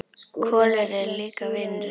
Kolur er líka vinur þeirra.